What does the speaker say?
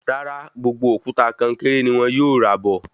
Rárá, gbogbo òkúta konkéré ní wọn yóò rà bọ̀